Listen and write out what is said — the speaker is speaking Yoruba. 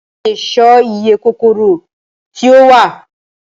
Ǹjẹ́ a lè sọ iye kòkòrò tí ó wà?